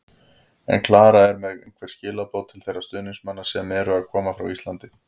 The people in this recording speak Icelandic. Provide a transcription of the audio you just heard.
En er Klara með einhver skilaboð til þeirra stuðningsmanna sem eru að koma frá Íslandi?